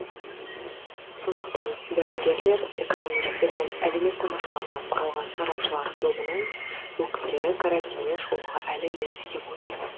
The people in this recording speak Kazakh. сондықтан дәрігерлер экономистер мен әлеуметтанушылардан құралған сарапшылар тобының өкілдері карантиннен шығуға әлі ерте деп отыр